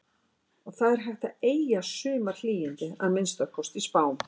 Og það er hægt að eygja sumarhlýindi, að minnsta kosti í spám.